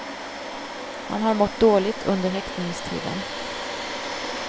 Han har mått dåligt under häktningstiden.